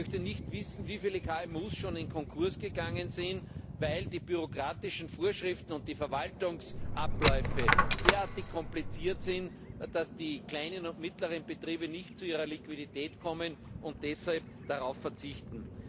Ich möchte nicht wissen, wie viele KMU schon in Konkurs gegangen sind, weil die bürokratischen Vorschriften und die Verwaltungsabläufe derartig kompliziert sind, dass die kleinen und mittleren Betriebe nicht zu ihrer Liquidität kommen und deshalb darauf verzichten.